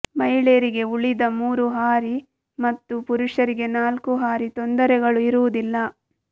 ಮಹಿಳೆಯರಿಗೆ ಉಳಿದ ಮೂರು ಹಾರಿ ಮತ್ತು ಪುರುಷರಿಗೆ ನಾಲ್ಕು ಹಾರಿ ತೊಂದರೆಗಳು ಇರುವುದಿಲ್ಲ